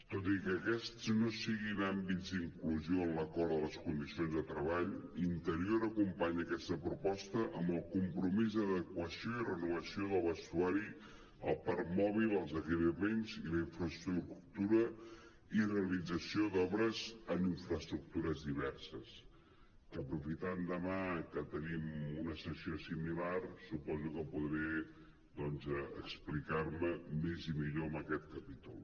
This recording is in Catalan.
tot i que aquests no siguin àmbits d’inclusió en l’acord de les condicions de treball interior acompanya aquesta proposta amb el compromís d’adequació i renovació del vestuari el parc mòbil els equipaments i la infraestruc·tura i realització d’obres en infraestructures diverses que aprofitant demà que te·nim una sessió similar suposo que podré explicar·me més i millor en aquest capítol